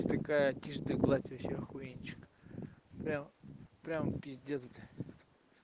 тишь да гладь вообще охуенчик прямо п б